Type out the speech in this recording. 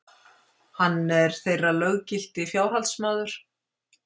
Hann er þeirra löggilti fjárhaldsmaður.